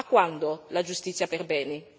A quando la giustizia per Beni?